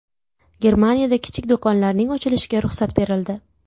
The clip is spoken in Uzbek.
Germaniyada kichik do‘konlarning ochilishiga ruxsat berildi.